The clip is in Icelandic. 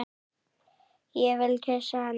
Ég vil kyssa hana.